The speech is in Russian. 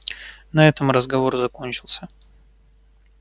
на этом разговор закончился